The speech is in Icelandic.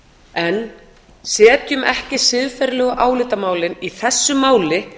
en setjum ekki siðferðilegu álitamálin í þessu máli